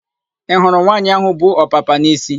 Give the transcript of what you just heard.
Ị hụrụ nwaanyị áhụ̀ bu ọpapa n'isi?